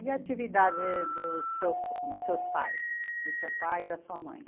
E a atividade dos seus dos seus pais, do seu pai e da sua mãe?